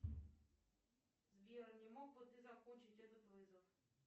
сбер не мог бы ты закончить этот вызов